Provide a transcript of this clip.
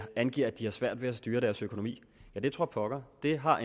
angiver at de har svært ved at styre deres økonomi ja det tror pokker det har